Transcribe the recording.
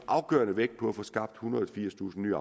afgørende vægt på at få skabt ethundrede og firstusind nye